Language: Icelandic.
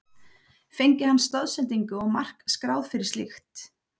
Fengi hann stoðsendingu og mark skráð fyrir slíkt?